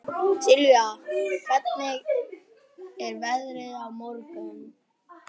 Sylvía, hvernig er veðrið á morgun?